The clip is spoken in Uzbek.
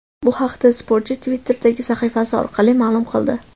Bu haqda sportchi Twitter’dagi sahifasi orqali ma’lum qildi .